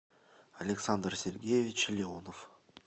александр сергеевич леонов